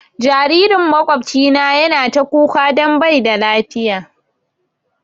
Jaririn makwabcina ya na ta kuka don bai da lafiya